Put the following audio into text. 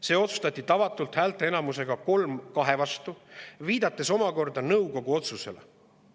See otsustati tavatult häälteenamusega kolm kahe vastu, viidates omakorda nõukogu otsusele.